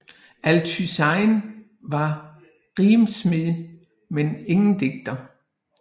Althuysen var rimsmed men ingen digter